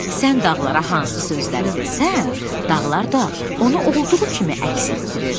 Sən dağlara hansı sözləri desən, dağlar da onu olduğu kimi əks etdirir.